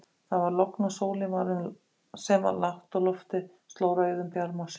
Það var logn og sólin, sem var lágt á lofti, sló rauðum bjarma á sjóinn.